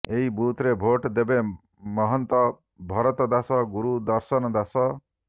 ଏହି ବୁଥରେ ଭୋଟ୍ ଦେବେ ମହନ୍ତ ଭରତଦାସ ଗୁରୁ ଦର୍ଶନ ଦାସ